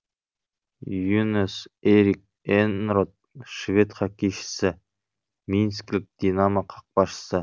ю нас э рик э нрот швед хоккейшісі минскілік динамо қақпашысы